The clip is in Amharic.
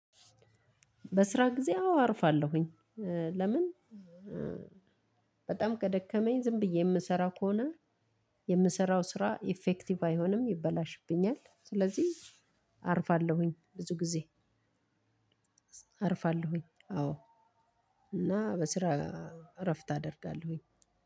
በስራ ጊዜ አዎ አርፋለሁኝ ለምን በጣም ከደከመኝ ዝም ብዬ የምሰራ ከሆነ የምሰራው ስራ ኢፌክቲቭ አይሆንም ይበላሽብኛል። አርፋለሁኝ ብዙ ጊዜ አርፋለሁኝ አዎ እና በስራ እረፍት አደርጋለሁኝ